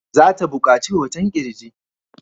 Za ta buƙaci hoton ƙirji.